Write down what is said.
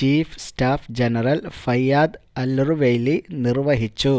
chief staff general Fayyad Alruwaili നിര്വ്വഹിച്ചു